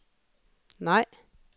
nej